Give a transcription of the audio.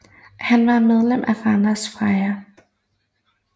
Han var medlem af Randers Freja